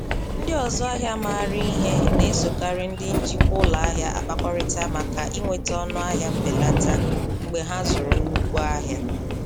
Ndị ọzụ ahịa maara ihe na-esokarị ndị njikwa ụlọ ahịa akpakọrịta maka inweta ọnụahịa mbelata mgbe ha zụrụ nnukwu ahịa.